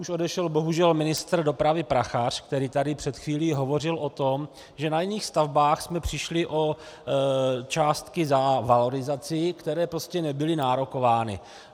Už odešel bohužel ministr dopravy Prachař, který tady před chvílí hovořil o tom, že na jiných stavbách jsme přišli o částky za valorizaci, které prostě nebyly nárokovány.